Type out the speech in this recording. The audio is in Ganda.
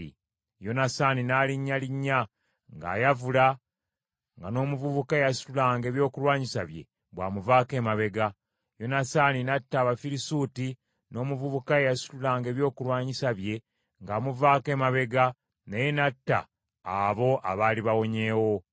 Yonasaani n’alinnyalinnya, ng’ayavula nga n’omuvubuka eyasitulanga ebyokulwanyisa bye bw’amuvaako emabega. Yonasaani n’atta Abafirisuuti, n’omuvubuka eyasitulanga ebyokulwanyisa bye ng’amuvaako emabega naye n’atta abo abaali bawonyeewo.